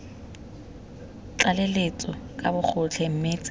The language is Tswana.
tlaleletso ka bogotlhe mme tse